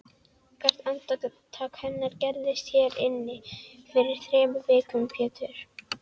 Hvert andartak hennar gerðist hér inni fyrir þremur vikum Pétur.